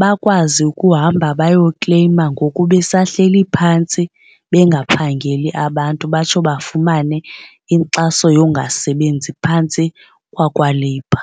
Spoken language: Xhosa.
bakwazi ukuhamba bayokleyima ngoku besahleli phantsi bengaphangeli abantu batsho bafumane inkxaso yokungasebenzi phantsi kwakwa-labour.